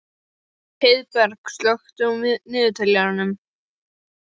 Heiðberg, slökktu á niðurteljaranum.